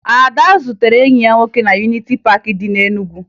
Ada zutere enyi ya nwoke na Yuniti Paakị dị na Enugu